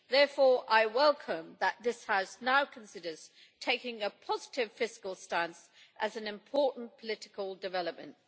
Therefore, I welcome that this House now considers taking a positive fiscal stance as an important political development.